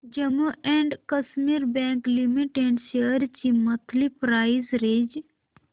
Jammu and Kashmir bank limited shares ची monthly price range